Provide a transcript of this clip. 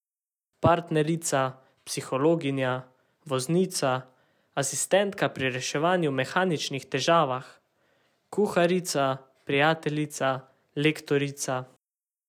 Partnerica, psihologinja, voznica, asistentka pri reševanju mehaničnih težavah, kuharica, prijateljica, lektorica ...